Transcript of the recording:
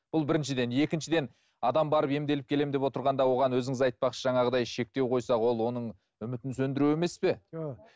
бұл біріншіден екіншіден адам барып емделіп келемін деп отырғанда оған өзіңіз айтпақшы жаңағыдай шектеу қойса ол оның үмітін сөндіру емес пе